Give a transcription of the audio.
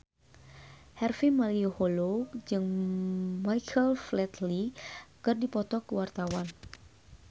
Harvey Malaiholo jeung Michael Flatley keur dipoto ku wartawan